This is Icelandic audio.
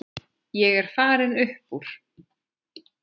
Ég er farinn upp úr.